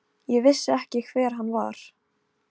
Fjöll og skáld og fagrar konur.